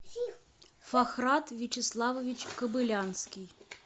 фахрат вячеславович кобылянский